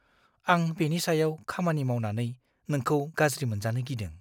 आं बेनि सायाव खामानि मावनानै नोंखौ गाज्रि मोनजानो गिदों।